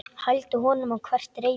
Hældi honum á hvert reipi.